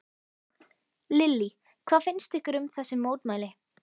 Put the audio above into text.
Lillý: Hvað finnst ykkur um þessi mótmæli?